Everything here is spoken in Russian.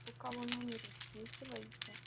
у кого номер высвечивается